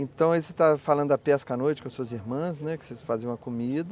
Então aí você está falando da pesca à noite com as suas irmãs, que vocês faziam a comida.